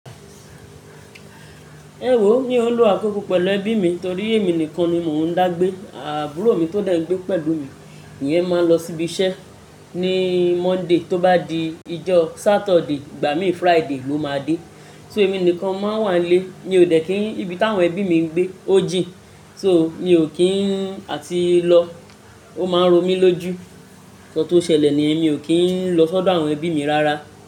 Ewo mi o n lo akoko pelu ebi mi tori emi nikan ni mo n dagbe. Aburo mi to de n gbe pelu mi iyen maa n lọ sibi se ni Monday to ba di ijo Saturday igba mi Friday lo ma de. So emi nikan mo maa n wa n le. Mi o dekin ibi tawo ebi mi n gbe o jin so mi o kii n ati lo o maa n ro mi loju. Nkan to sele ni yen mi o ki n lo sodo awon ebi mi rara.